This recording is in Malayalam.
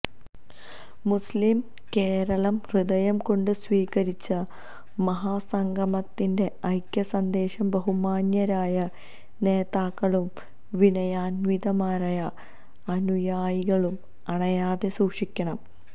മുസ്ലിം കേരളം ഹൃദയം കൊണ്ട് സ്വീകരിച്ച മഹാ സംഗമത്തിന്റെ ഐക്യ സന്ദേശം ബഹുമാന്യരായ നേതാക്കളും വിനയാന്വിതരായ അനുയായികളും അണയാതെ സൂക്ഷിക്കണം